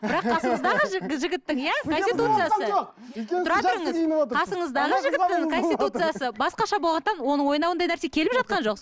бірақ қасыңыздағы жігіттің иә конституциясы басқаша болғандықтан оның ойына ондай нәрсе келіп жатқан жоқ